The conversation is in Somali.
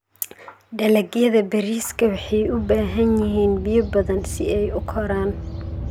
Dalagyada bariiska waxay u baahan yihiin biyo badan si ay u koraan.